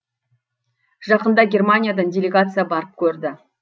жақында германиядан делегация барып көрді